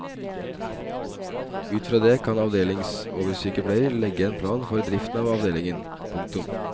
Ut fra det kan avdelingsoversykepleier legge en plan for driften av avdelingen. punktum